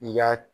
I y'a